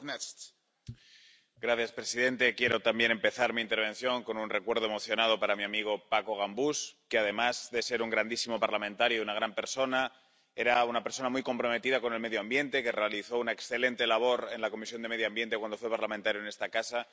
Señor presidente, quiero también empezar mi intervención con un recuerdo emocionado para mi amigo Paco Gambús quien, además de ser un grandísimo parlamentario y una gran persona, era una persona muy comprometida con el medio ambiente, que realizó una excelente labor en la Comisión de Medio Ambiente cuando fue parlamentario en esta casa.